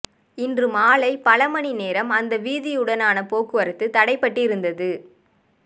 இன்று மாலை பல மணி நேரம் அந்த வீதியூடான போக்குவரத்து தடைப்பட்டிருந்தது